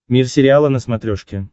мир сериала на смотрешке